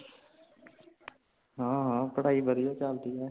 ਹਾ , ਹਾ ਪੜਾਇ ਵਧੀਆ ਚਲਦੀ ਹੇ।